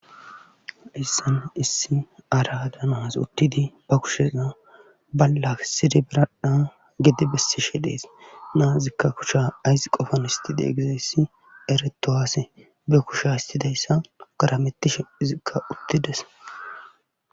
Hayssan issi ara danaas uttidi ba kushenna balla sidi biradhan gedi bessi shi dhees naazikka kusha ayss qofan istide gedeyssi eretohaase be kusha istidayssa garametti shephizikka uttides.